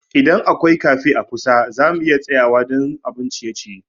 Idan akwai cafe a kusa, za mu iya tsayawa don abun ciye-ciye.